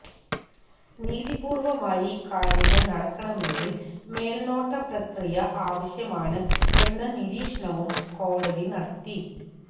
നീതിപൂര്വമായി കാര്യങ്ങള് നടക്കണമെങ്കില് മേല്നോട്ട പ്രക്രിയ ആവശ്യമാണ് എന്ന നീരീക്ഷണവും കോടതി നടത്തി